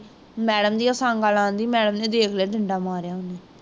madam ਦੀਆਂ ਹੋਈ ਸ਼ਾਂਗਾਂ ਲਾਉਂਦੀ, madam ਨੇ ਦੇਖ ਲਿਆ, ਡੰਡਾ ਮਾਰਿਆ ਉਹਨੂੰ